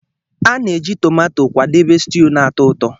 A na-eji tomato kwadebe stew na-atọ ụtọ.